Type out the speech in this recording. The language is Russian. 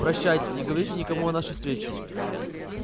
прощайте не говорите никому о нашей встрече